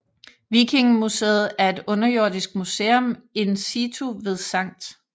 Vikingemuseet er et underjordisk museum in situ ved Skt